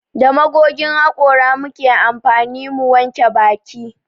Da magogin hakora muke amfani mu wanke baki